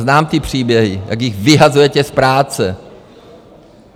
Znám ty příběhy, jak jich vyhazujete z práce.